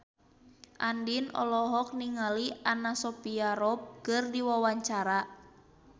Andien olohok ningali Anna Sophia Robb keur diwawancara